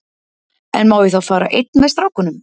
En má ég þá fara einn með strákunum?